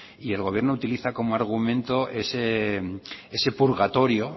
y el gobierno utiliza como argumento ese purgatorio